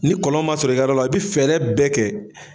Ni kɔlɔn ma sɔrɔ i ka yɔrɔ la i bi fɛɛrɛ bɛɛ kɛ.